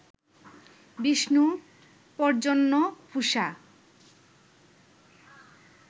Vishnu, Parjanya, Pusha